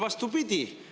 Vastupidi!